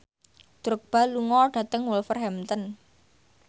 Drogba lunga dhateng Wolverhampton